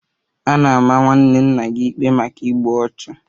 A na-ama nwanne nna gị ikpe maka igbu ọchụ?